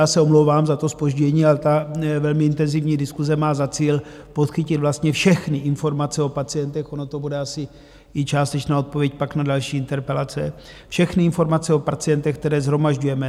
Já se omlouvám za to zpoždění, ale ta velmi intenzivní diskuse má za cíl podchytit vlastně všechny informace o pacientech - ono to bude asi i částečná odpověď pak na další interpelace - všechny informace o pacientech, které shromažďujeme;